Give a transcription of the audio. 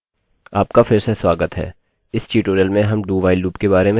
आपका फिर से स्वागत है इस ट्यूटोरियल में हम dowhile लूपloop के बारे में जानेंगे